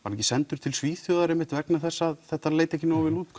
hann ekki sendur til Svíþjóðar einmitt vegna þess að þetta leit ekki nógu vel út